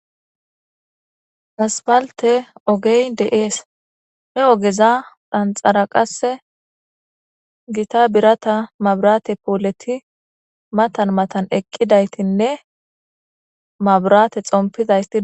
Asippalite ogey deesi he ogeza kanithara qase gita borata mabirate pole matani matani eqidatine mabirate xomippizayit